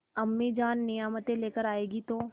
अम्मीजान नियामतें लेकर आएँगी तो